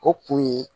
O kun ye